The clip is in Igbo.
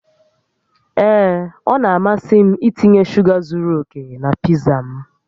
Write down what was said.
Ee, ọ na-amasị m itinye shuga zuru oke na pizza m